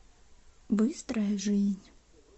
быстрая жизнь